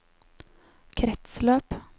kretsløp